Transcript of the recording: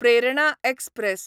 Prerna express